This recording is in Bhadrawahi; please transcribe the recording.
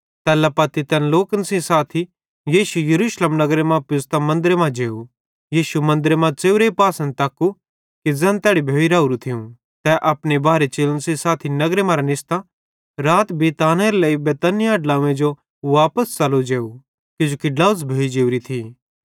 तैल्ला पत्ती तैन लोकन सेइं साथी यीशु यरूशलेम नगरी मां पुज़्तां मन्दरे मां जेव यीशु मन्दरे मां च़ेव्रे पासन तक्कू कि ज़ैन तैड़ी भोइ राओरू थियूं तै अपने बारहे चेलन सेइं साथी नगरे मरां निस्तां राती बिशनेरे लेइ बैतनिय्याह ड्लोंव्वे जो वापस च़लो जेव किजोकि ड्लोझ़ भोइ जोरी थी